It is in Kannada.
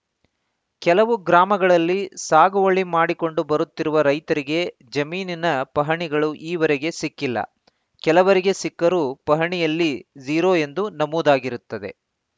ಕೆಲವು ಗ್ರಾಮಗಳಲ್ಲಿ ಸಾಗುವಳಿ ಮಾಡಿಕೊಂಡು ಬರುತ್ತಿರುವ ರೈತರಿಗೆ ಜಮೀನಿನ ಪಹಣಿಗಳು ಈವರೆಗೆ ಸಿಕ್ಕಿಲ್ಲ ಕೆಲವರಿಗೆ ಸಿಕ್ಕರೂ ಪಹಣಿಯಲ್ಲಿ ಜೀರೋ ಎಂದು ನಮೂದಾಗಿರುತ್ತದೆ